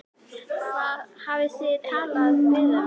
Hafið þið talað við þá?